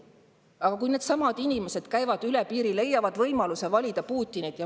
Aga needsamad inimesed käivad üle piiri, leiavad võimaluse valida Putinit.